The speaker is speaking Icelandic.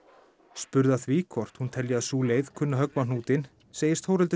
spurð að því hvort hún telji að sú leið kunni að höggva á hnútinn segist Þórhildur